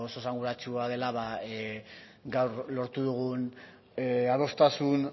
esanguratsua dela gaur lortu dugun adostasun